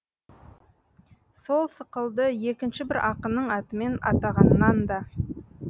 сол сықылды екінші бір ақынның атымен атағаннан да